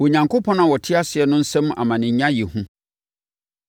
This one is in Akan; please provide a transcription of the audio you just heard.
Onyankopɔn a ɔte ase no nsam amanenya yɛ hu.